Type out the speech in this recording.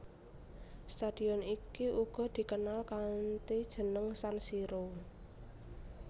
Stadion iki uga dikenal kanthi jeneng San Siro